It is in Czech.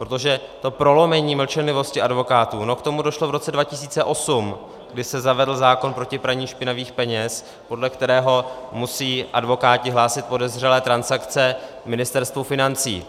Protože to prolomení mlčenlivosti advokátů - no k tomu došlo v roce 2008, kdy se zavedl zákon proti praní špinavých peněz, podle kterého musí advokáti hlásit podezřelé transakce Ministerstvu financí.